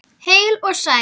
Heil og sæl.